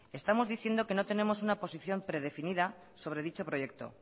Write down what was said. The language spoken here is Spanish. estamos diciendo que no tenemos una posición predefinida sobre dicho proyecto